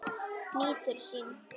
Nýtur sín.